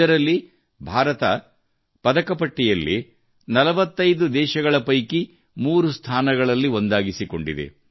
ಇದರಲ್ಲಿ ಭಾರತ ಪದಕ ಪಟ್ಟಿಯಲ್ಲಿ 45 ದೇಶಗಳ ಪೈಕಿ ಮೂರು ಸ್ಥಾನಗಳಲ್ಲಿ ಒಂದಾಗಿದೆ